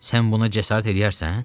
Sən buna cəsarət eləyərsən?